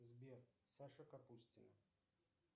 сбер саша капустина